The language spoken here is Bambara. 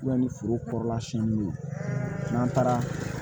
ni foro kɔrɔla siyɛn duuru n'an taara